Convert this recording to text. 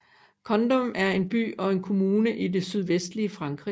Condom er en by og kommune i det sydvestlige Frankrig